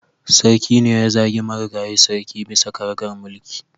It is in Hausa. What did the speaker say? Sarki ne ya zagi marigayi sarki bisa karagar mulki